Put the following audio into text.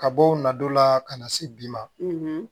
Ka bɔ o nadon la ka na se bi ma